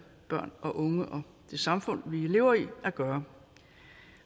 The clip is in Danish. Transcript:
børn og unge og det samfund vi lever i at gøre